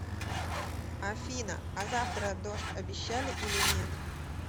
афина а завтра дождь обещали или нет